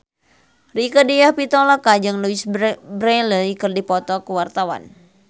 Rieke Diah Pitaloka jeung Louise Brealey keur dipoto ku wartawan